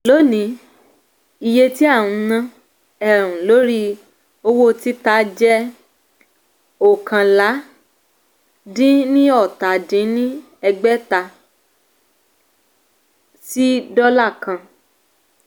lónìí iye tí a ń ná um lórí owó títa jẹ́ um oókànlá-dín-ní-ọ́ta dín ní ẹgbẹ́ta (n five hundred fifty one ) sí dólà kan